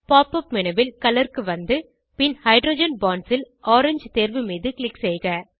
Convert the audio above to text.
pop up menu ல் colour க்கு வந்து பின் ஹைட்ரோஜன் பாண்ட்ஸ் ல் ஓரங்கே தேர்வு மீது க்ளிக் செய்க